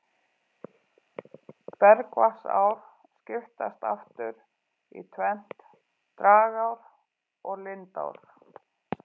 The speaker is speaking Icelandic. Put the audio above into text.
Bergvatnsár skiptast aftur í tvennt, dragár og lindár.